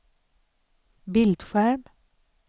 bildskärm